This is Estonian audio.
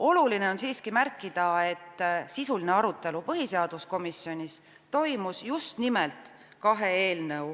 Oluline on siiski märkida, et sisuline arutelu põhiseaduskomisjonis toimus just nimelt kahe eelnõu